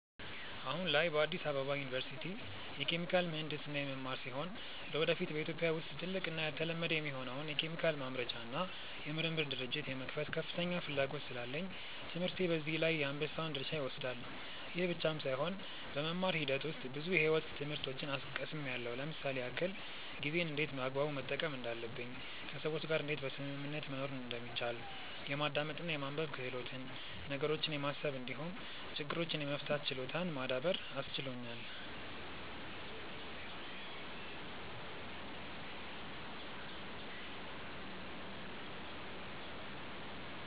አሁን ላይ በአዲስ አበባ ዩኒቨርሲቲ የኬሚካል ምሕንድስና የምማር ሲሆን ለወደፊት በኢትዮጵያ ውስጥ ትልቅ እና ያልተለመደ የሆነውን የኬሚካል ማምረቻ እና የምርምር ድርጅት የመክፈት ከፍተኛ ፍላጎት ስላለኝ ትምህርቴ በዚህ ላይ የአንበሳውን ድርሻ ይወስዳል። ይህ ብቻም ሳይሆን በመማር ሂደት ውስጥ ብዙ የሕይወት ትምህርቶችን ቀስምያለው ለምሳሌ ያክል፦ ጊዜን እንዴት በአግባቡ መጠቀም እንዳለብኝ፣ ከሰዎች ጋር እንዴት በስምምነት መኖር እንደሚቻል፣ የማዳመጥ እና የማንበብ ክህሎትን፣ ነገሮችን የማሰብ እንዲሁም ችግሮችን የመፍታት ችሎታን ማዳበር አስችሎኛል።